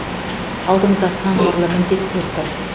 алдымызда сан қырлы міндеттер тұр